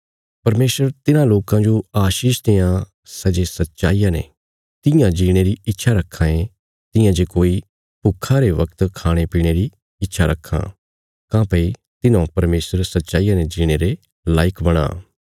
परमेशर तिन्हां लोकां जो आशीष देआं सै जे सच्चाईया ने तियां जीणे री इच्छा रक्खां ये तियां जे कोई भुक्खा रे वगत खाणे पीणे री इच्छा रक्खां काँह्भई तिन्हौं परमेशर सच्चाईया ने जीणे रे लायक बणां